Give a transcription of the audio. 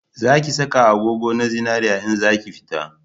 Za ki saka agogo na zinari in zaki fita